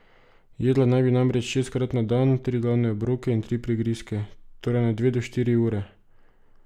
Jedla naj bi namreč šestkrat na dan, tri glavne obroke in tri prigrizke, torej na dve do štiri ure.